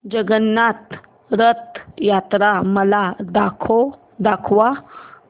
जगन्नाथ रथ यात्रा मला दाखवा